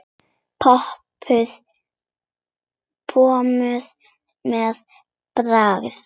Pompuð með pragt.